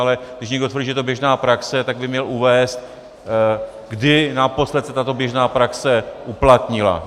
Ale když někdo tvrdí, že to je běžná praxe, tak by měl uvést, kdy naposled se tato běžná praxe uplatnila.